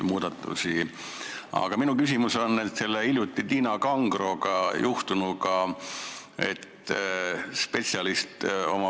Kuid minu küsimus on hiljuti Tiina Kangroga juhtunu kohta.